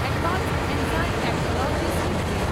advanced enzyme technologies limited